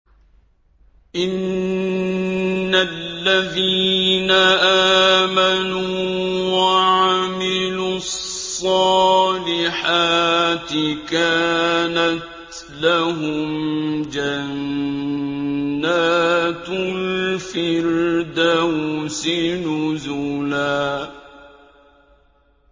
إِنَّ الَّذِينَ آمَنُوا وَعَمِلُوا الصَّالِحَاتِ كَانَتْ لَهُمْ جَنَّاتُ الْفِرْدَوْسِ نُزُلًا